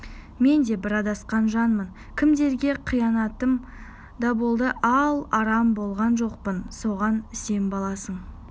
мен де бір адасқан жанмын кімдерге қиянатым да болды ал арам болған жоқпын соған сен баласың